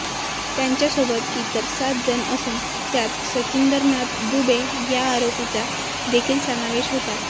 त्यांच्यासोबत इतर सातजण असून त्यात सचिंदरनाथ दुबे या आरोपीचा देखील समावेश होता